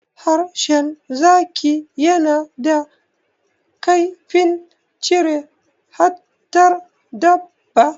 Harshen zaki yana da kaifin cire fatar dabba.